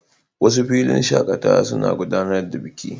Wasu filin shakatawa suna gudanar da biki.